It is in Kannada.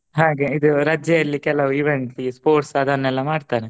ಹಾಗೆ ಇದು ರಜೆಯಲ್ಲಿ ಕೆಲವು event ಈ sports ಅದನೆಲ್ಲಾ ಮಾಡ್ತಾರೆ.